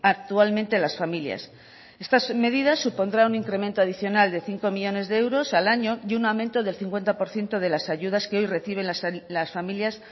actualmente las familias estas medidas supondrán un incremento adicional de cinco millónes de euros al año y un aumento del cincuenta por ciento de las ayudas que hoy reciben las familias